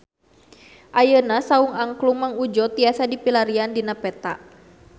Ayeuna Saung Angklung Mang Udjo tiasa dipilarian dina peta